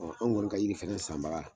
Ɔ an kɔni ka yiri fana sanbaga